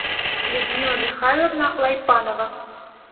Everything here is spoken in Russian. людмила михайловна лайпанова